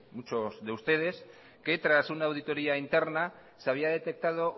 muchos de ustedes que tras una auditoría interna se había detectado